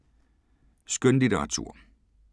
Skønlitteratur